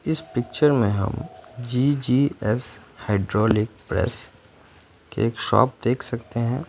इस पिक्चर में हम जी_जी_एस हाइड्रोलिक प्रेस की एक शॉप है।